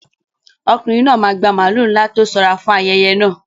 Ọkùnrin náà máa gba màlúù ńlá tó sanra fún ayẹyẹ náà.